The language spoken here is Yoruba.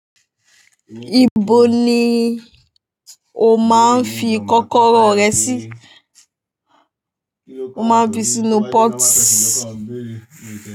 Ibo ni o máa ń fi kọ́kọ́rọ́ rẹ sí? Mo máa ń fi sínú pot.